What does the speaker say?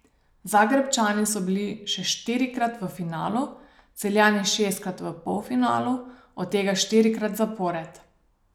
Zagrebčani so bili še štirikrat v finalu, Celjani šestkrat v polfinalu, od tega štirikrat zapored.